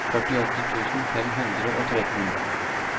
førtiåtte tusen fem hundre og tretten